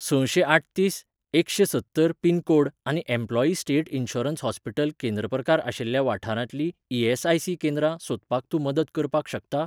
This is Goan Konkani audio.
सशें आठतीस एकशें सत्तर पिनकोड आनी एम्प्लॉयी स्टेट इन्शुरन्स हॉस्पिटल केंद्र प्रकार आशिल्ल्या वाठारांतलीं ई.एस.आय.सी. केंद्रां सोदपाक तूं मदत करपाक शकता?